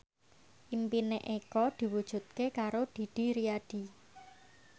impine Eko diwujudke karo Didi Riyadi